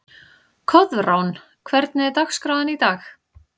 Koðrán, hvernig er dagskráin í dag?